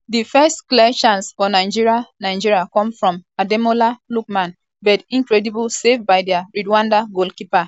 di first clear chance for nigeria nigeria come from ademola lookman but incredible save by di rwanda goalkeeper ntwari fiarce deny di eagles a lead.